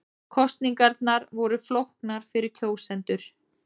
Kosningarnar voru flóknar fyrir kjósendur